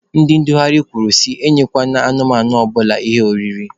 Ndị ndugharị kwuru sị enyekwana anụmanụ ọbụla ihe oriri.